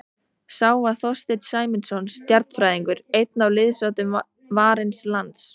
Sá var Þorsteinn Sæmundsson stjarnfræðingur, einn af liðsoddum Varins lands.